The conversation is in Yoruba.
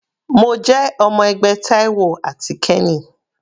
Mo jẹ́ ọmọ ẹgbẹ́ Taiwo àti kenny.